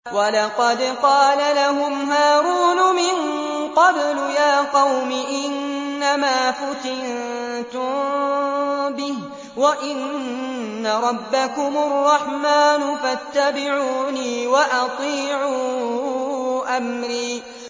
وَلَقَدْ قَالَ لَهُمْ هَارُونُ مِن قَبْلُ يَا قَوْمِ إِنَّمَا فُتِنتُم بِهِ ۖ وَإِنَّ رَبَّكُمُ الرَّحْمَٰنُ فَاتَّبِعُونِي وَأَطِيعُوا أَمْرِي